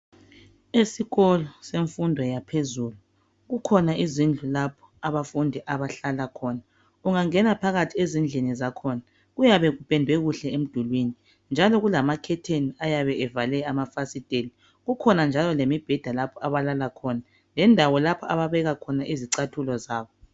Esikolo semfundo yaphezulu kukhona izindlu lapho abafundi abahlala khona. Ungangena phakathi ezindlini zakhona kuyabe kupendwe kuhle emdulwini njalo kulama curtain ayabe evale amafasitela. Kukhona njalo lemibheda lapho abalala khona lendawo lapho ababeka khona izicathulo zabo.